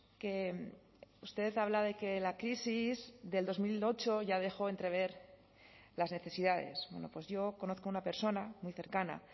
que usted habla de que la crisis del dos mil ocho ya dejó entrever las necesidades bueno pues yo conozco una persona muy cercana